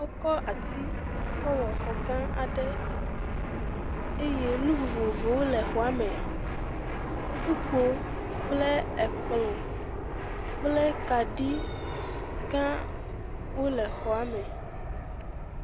Wokɔ ati kɔ wɔ xɔ gã aɖe eye nu vovovowo le xɔa me. kpukpo kple ekplɔ̃ kple kaɖigãwo le xɔa me.